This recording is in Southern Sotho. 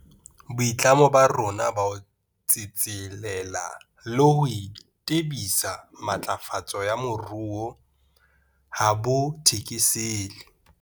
Boitlamo ba rona ba ho tsetselela le ho tebisa matlafatso ya moruo ha bo thekesele.